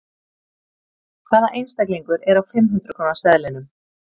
Hvaða einstaklingur er á fimm hundrað króna seðlinum?